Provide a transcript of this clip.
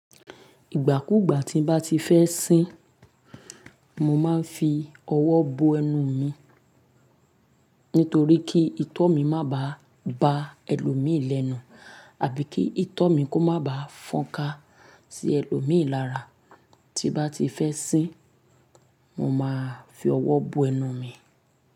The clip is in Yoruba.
Ìgbà kú ìgbà tí n bá ti fẹ́ sín, mo máa ń fi ọwọ́ bo ẹnu mi, nítorí kí ìtọ́ mi má ba bá ẹlòmíì lẹ́nu àbí kí ìtọ́ mi kó má ba fọ́n ká sí ẹlòmíì lára. Tí n bá ti fẹ́ sín, mo máa fi ọwọ́ bo ẹnu mi.